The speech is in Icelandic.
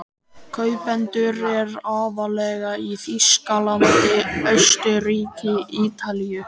Kaupendur eru aðallega í Þýskalandi, Austurríki, Ítalíu